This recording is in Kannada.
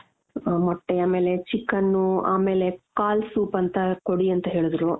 ಆ ಮೊಟ್ಟೆ ಆಮೇಲೆ chicken ಆಮೇಲೆ ಕಾಲ್ soup ಅಂತ ಕೊಡಿ ಅಂತ ಹೇಳುದ್ರು.